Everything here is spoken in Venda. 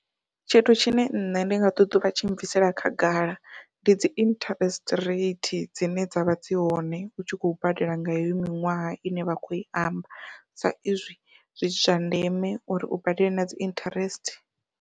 Tshithu tshine nṋe ndi nga ṱoḓa u vha tshi bvisela khagala ndi dzi interest rate dzine dzavha dzi hone u tshi khou badela nga iyo miṅwaha ine vha khou i amba, sa izwi zwi zwa ndeme uri u badele nadzi interest.